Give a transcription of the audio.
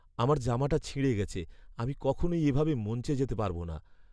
আমার জামাটা ছিঁড়ে গেছে। আমি কখনই এভাবে মঞ্চে যেতে পারব না।